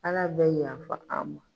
Ala bɛ yafa an ma.